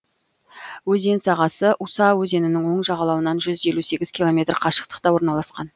өзен сағасы уса өзенінің оң жағалауынан жүз елу сегіз километр қашықтықта орналасқан